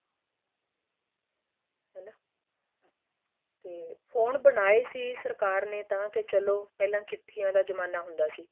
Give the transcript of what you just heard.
ਹੈਨਾ ਤੇ ਫੋਨ ਬਣਾਏ ਸੀ ਸਰਕਾਰ ਨੇ ਤਾਂ ਕੇ ਚਲੋਂ ਪਹਿਲਾਂ ਚਿੱਠੀਆਂ ਦਾ ਜਮਾਣਾ ਹੁੰਦਾ ਸੀ